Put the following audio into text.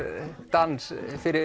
dans